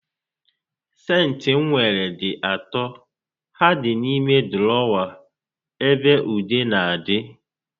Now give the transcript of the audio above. Sentị m nwere dị atọ, ha dị n'ime dụrọwa ebe ude n'adị